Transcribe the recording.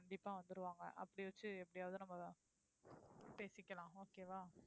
கண்டிப்பா வந்துருவாங்க அப்படி வச்சு எப்படியாது நம்ம பேசிக்கலாம் okay வா?